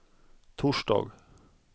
torsdag